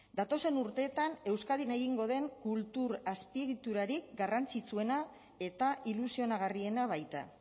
datozen urteetan euskadin egingo den kultur azpiegiturarik garrantzitsuena eta ilusionagarriena baita